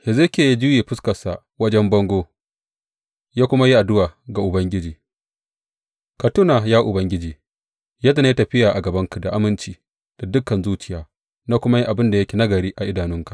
Hezekiya ya juye fuskarsa wajen bango ya kuma yi addu’a ga Ubangiji, Ka tuna, ya Ubangiji, yadda na yi tafiya a gabanka da aminci da dukan zuciya na kuma yi abin da yake nagari a idanunka.